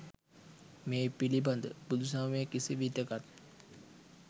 මේ පිළිබඳ බුදුසමය කිසිවිටකත්